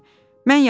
Mən yatdım.